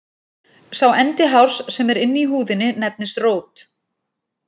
Sá endi hárs sem er inni í húðinni nefnist rót.